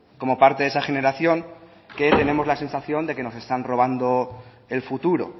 como parte de esa generación que tenemos la sensación de que nos están robando el futuro